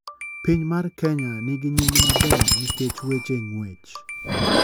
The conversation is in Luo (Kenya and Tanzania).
Piny mar kenya ni gi nying maber nikech weche nguech